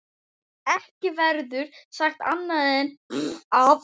Ekki verður sagt annað en að